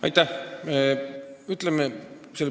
Aitäh!